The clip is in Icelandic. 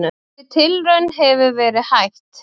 Þeirri tilraun hefur verið hætt.